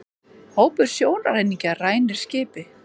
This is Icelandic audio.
Hópur sjóræningja rænir skipi